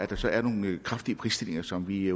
der så er nogle kraftige prisstigninger som vi